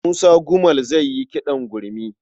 Musa Gumel zai yi kiɗan gurmi.